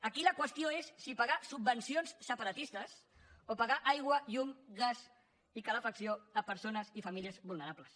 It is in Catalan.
aquí la qüestió és si pagar subvencions separatistes o pagar aigua llum gas i calefacció a persones i famílies vulnerables